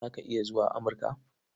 Za ka iya zuwa Amurka?